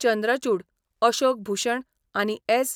चंद्रचुड, अशोक भुशण आनी एस.